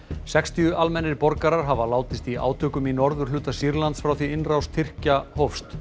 sextíu almennir borgarar hafa látist í átökum í norðurhluta Sýrlands frá því innrás Tyrkja hófst